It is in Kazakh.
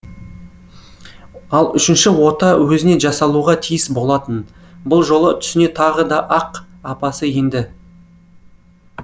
ал үшінші ота өзіне жасалуға тиіс болатын бұл жолы түсіне тағы да ақ апасы енді